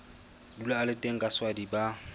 dula a le teng kaswadi ba